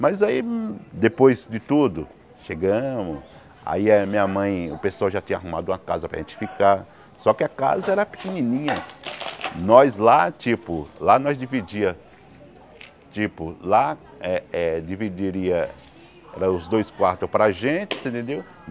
Mas aí, hum depois de tudo, chegamos Aí a minha mãe, o pessoal já tinha arrumado uma casa para a gente ficar Só que a casa era pequenininha Nós lá, tipo, lá nós dividia Tipo, lá eh eh dividiria os dois quartos para a gente, você entendeu?